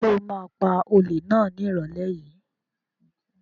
Ṣo ma pa olè náà ní ìrọ̀lẹ́ yìí?